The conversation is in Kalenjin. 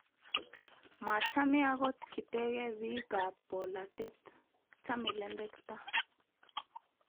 machame akot kitege biikab bolatet, chame lembekta